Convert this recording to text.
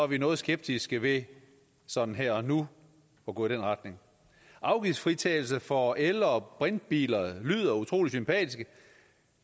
vi noget skeptiske ved sådan her og nu at gå i den retning afgiftsfritagelse for el og brintbiler lyder utrolig sympatisk